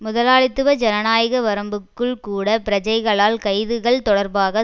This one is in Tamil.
முதலாளித்துவ ஜனநாயக வரம்புக்குள் கூட பிரஜைகளால் கைதுகள் தொடர்பான